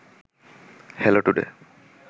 hello today